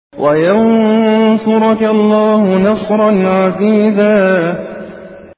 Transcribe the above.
وَيَنصُرَكَ اللَّهُ نَصْرًا عَزِيزًا